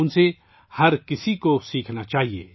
سب کو ان سے سیکھنا چاہیے